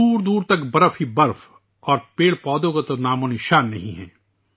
دور دور تک برف ہی برف اور پیڑ پودوں کا تو نام نشان نہیں ہے